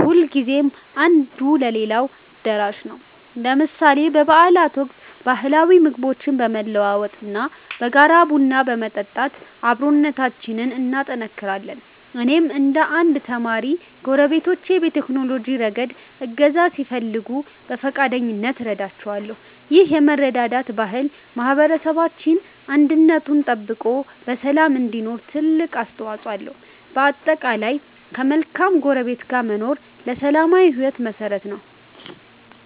ሁልጊዜም አንዱ ለሌላው ደራሽ ነው። ለምሳሌ በበዓላት ወቅት ባህላዊ ምግቦችን በመለዋወጥ እና በጋራ ቡና በመጠጣት አብሮነታችንን እናጠናክራለን። እኔም እንደ አንድ ተማሪ፣ ጎረቤቶቼ በቴክኖሎጂ ረገድ እገዛ ሲፈልጉ በፈቃደኝነት እረዳቸዋለሁ። ይህ የመረዳዳት ባህል ማኅበረሰባችን አንድነቱ ተጠብቆ በሰላም እንዲኖር ትልቅ አስተዋፅኦ አለው። በጠቅላላው፣ ከመልካም ጎረቤት ጋር መኖር ለሰላማዊ ሕይወት መሠረት ነው።